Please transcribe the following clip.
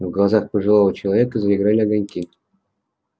в глазах пожилого человека заиграли огоньки